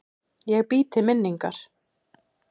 Ég bý til minningar.